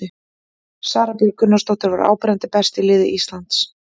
Sara Björg Gunnarsdóttir var áberandi best í liði Íslands.